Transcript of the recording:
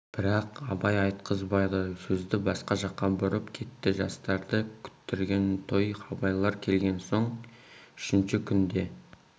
бірақ абай айтқызбады сөзді басқа жаққа бұрып кетті жастарды күттірген той абайлар келген соң үшінші күнде